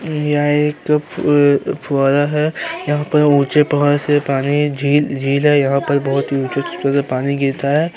यहाँ एक फू- फुवारा है। यहाँ पर ऊँचे प्रवाह से पानी झील- झील है। यहाँ पर बहोत ऊँचे-ऊँचे से पानी गिरता है।